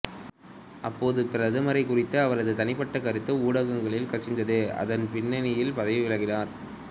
அப்போதைய பிரதமரைக் குறித்த அவரது தனிப்பட்டக் கருத்து ஊடகங்களில் கசிந்து அதன் பின்னணியில் பதவி விலகினார்